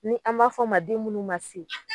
Ni an b'a f'ɔ ma den munnu ma se